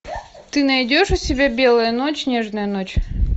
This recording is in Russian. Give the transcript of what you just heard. ты найдешь у себя белая ночь нежная ночь